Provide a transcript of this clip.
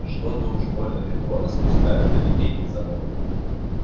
что-то уж больно легко нас пускают на литейный завод